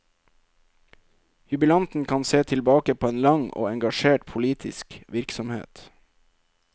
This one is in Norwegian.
Jubilanten kan se tilbake på en lang og engasjert politisk virksomhet.